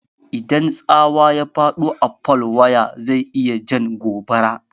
Idan tsawa ya faɗo a fol waya, zai iya jan gobara.